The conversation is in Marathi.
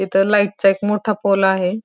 इथे लाईटचा एक मोठा पोल आहे.